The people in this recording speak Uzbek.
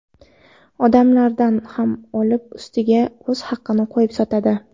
Odamlardan ham olib, ustiga o‘z haqini qo‘yib sotadi.